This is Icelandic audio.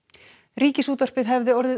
Ríkisútvarpið hefði orðið